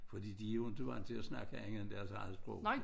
Fordi de jo ikke vant til at snakke andet end deres eget sprog